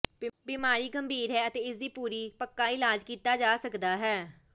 ਬੀਮਾਰੀ ਗੰਭੀਰ ਹੈ ਅਤੇ ਇਸ ਦੀ ਪੂਰੀ ਪੱਕਾ ਇਲਾਜ ਕੀਤਾ ਜਾ ਸਕਦਾ ਹੈ